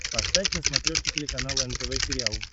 поставь на смотрешке телеканал нтв сериал